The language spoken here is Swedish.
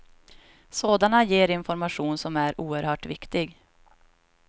Sådana ger information som är oerhört viktig.